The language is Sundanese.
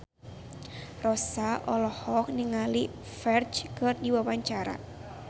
Rossa olohok ningali Ferdge keur diwawancara